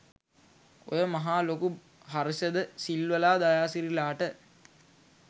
ඔය මහා ලොකු හර්ෂ ද සිල්වලා දයාසිරිලාට